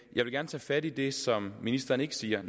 jeg vil gerne tage fat i det som ministeren ikke siger